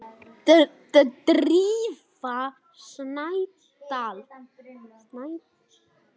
Ferill hennar ber þess merki.